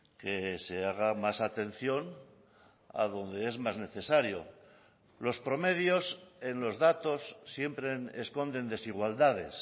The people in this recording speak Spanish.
que se haga más atención a donde es más necesario los promedios en los datos siempre esconden desigualdades